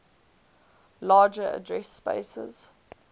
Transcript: larger address spaces